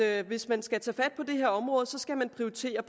at hvis man skal tage fat på det her område skal man prioritere